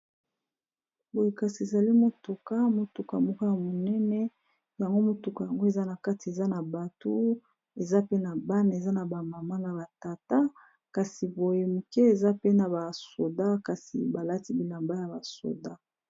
Boye kasi ezali motuka moko ya munene, yango mutuka eza na kati eza na bato eza pe na bana eza na ba mama na batata, kasi boye moke eza pe na ba soldat balati bilamba ya ba soldat.